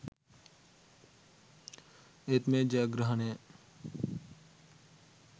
ඒත් මේ ජයග්‍රහණය